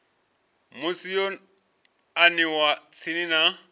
musi yo aniwa tsini na